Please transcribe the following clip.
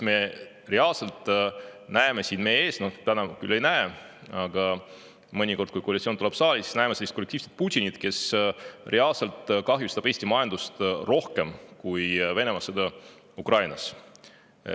Me näeme siin meie ees – täna küll ei näe, aga mõnikord, kui koalitsioon tuleb saali, siis näeme – sellist kollektiivset Putinit, kes reaalselt kahjustab Eesti majandust rohkem kui Venemaa sõda Ukrainas.